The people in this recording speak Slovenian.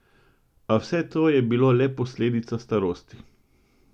A vse to je bilo le posledica starosti.